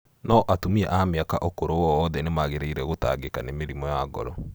No atumia a mĩaka ũkũrũ wowothe nĩ mangĩrĩire gũtangĩka nĩ mũrimũ wa ngoro.